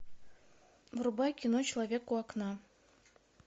врубай кино человек у окна